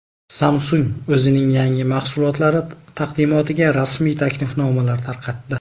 Samsung o‘zining yangi mahsulotlari taqdimotiga rasmiy taklifnomalar tarqatdi.